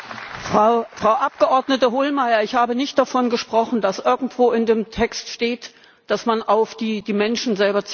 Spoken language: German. Frau Abgeordnete Hohlmeier, ich habe nicht davon gesprochen, dass irgendwo in dem Text steht, dass man auf die Menschen selber zielen wird.